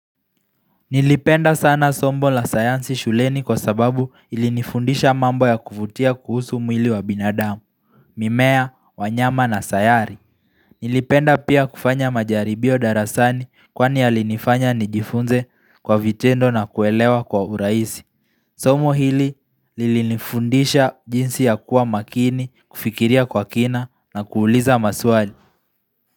Nilipenda sana sombo la sayansi shuleni kwa sababu ilinifundisha mambo ya kuvutia kuhusu mwili wa binadamu, mimea, wanyama na sayari Nilipenda pia kufanya majaribio darasani kwani yalinifanya nijifunze kwa vitendo na kuelewa kwa urahisi Sombo hili lilinifundisha jinsi ya kuwa makini, kufikiria kwa kina na kuuliza maswali.